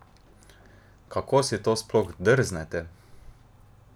Kako si to sploh drznete?